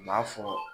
U b'a fɔ